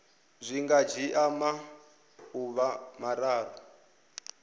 zwi nga dzhia maḓuvha mararu